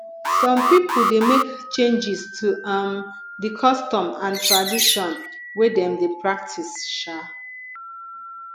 some pipo de make changes to um di custom and tradition wey dem de practice um